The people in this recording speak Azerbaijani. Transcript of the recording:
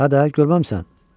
Hə də, görməmisən?